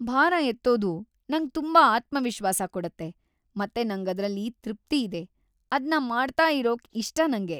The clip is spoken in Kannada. ಭಾರ ಎತ್ತೋದು ನಂಗ್ ತುಂಬಾ ಆತ್ಮವಿಶ್ವಾಸ ಕೊಡತ್ತೆ ಮತ್ತೆ ನಂಗದ್ರಲ್ಲಿ ತೃಪ್ತಿ ಇದೆ. ಅದ್ನ ಮಾಡ್ತಾ ಇರೋಕ್‌ ಇಷ್ಟ ನಂಗೆ.